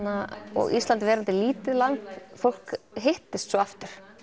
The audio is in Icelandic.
og Ísland verandi lítið land fólk hittist svo aftur